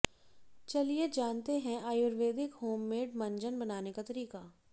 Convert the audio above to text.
चलिए जानते हैं आयुर्वेदिक होममेड मंजन बनाने का तरीका